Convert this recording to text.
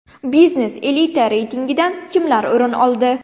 Biznes elita reytingidan kimlar o‘rin oldi?